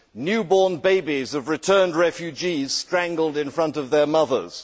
Newborn babies of returned refugees strangled in front of their mothers.